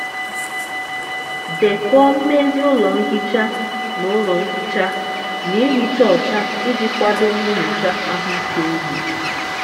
dekọọ mmezi ụlọ nhicha na ụlọ nhicha na ihicha ọcha iji kwado nyocha ahụike ugbo.